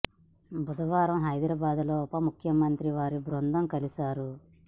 బుధవారం హైదరాబాద్ లో ఉప ముఖ్య మంత్రిని వారి బృందం కలిసారు